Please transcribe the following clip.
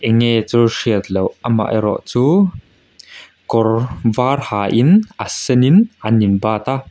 nge chu hriat loh amaherawh chu kawr var hain a senin an inbat a.